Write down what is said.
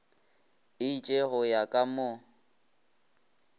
itše go ya ka mo